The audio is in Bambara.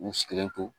U sigilen to